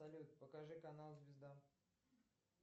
салют покажи канал звезда